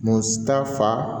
Mun ta fa